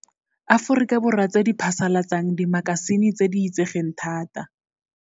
Aforika Borwa tse di phasalatsang dimaka sine tse di itsegeng thata.